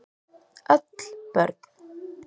Öll börn